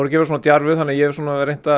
vera svona djarfur þannig að ég svona hef reynt að